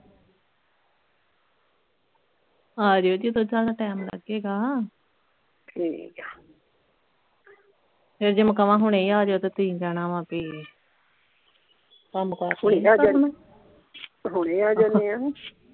ਆਜੀਓ ਜਦੋਂ ਤੁਹਾਡਾ ਟਾਈਮ ਲੱਗੇਗਾ ਠੀਕ ਆ ਫੇਰ ਜੇ ਮੈਂ ਹੁਣੇ ਕਵਾਂ ਹੁਣੇ ਅਜੋ ਤੁਸੀਂ ਕਹਿਣਾ ਵਾ ਬੀ ਕੰਮ ਕਰ ਕੋਈ ਨਹੀਂ ਕਰਨਾ ਹੁਣੇ ਆ ਜਾਨੇ ਆਂ